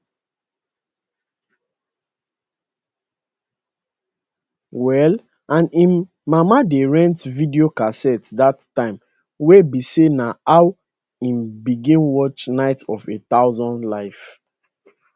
well and im mama dey rent video casette dat time wey be say na how im begin watch night of a thousand life